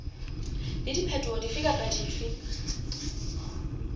le diphetoho dife kapa dife